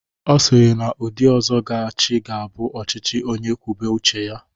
Ọ sịrị na ndị ọzọ ga-achị ga abụ ọchịchị onye kwube uche ya.